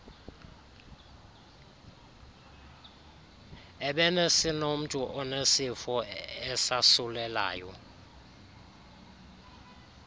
ebesinomntu onesifo esasulelayo